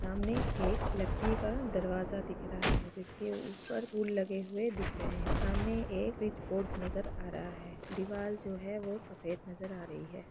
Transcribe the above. सामने एक लकड़ी का दरवाजा दिख रहा है जिसके ऊपर रूल लगे हुए दिख रहे है सामने एक स्विच बोर्ड नज़र आ रहा है दिवार जो है वो सफ़ेद नज़र आ रही है।